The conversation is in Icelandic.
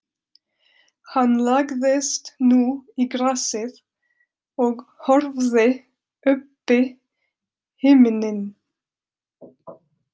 Hann lagðist nú í grasið og horfði uppí himininn.